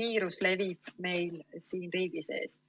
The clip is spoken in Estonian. viirus levib meil siin riigi sees.